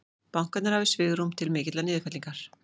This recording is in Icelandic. Bankarnir hafi svigrúm til mikillar niðurfellingar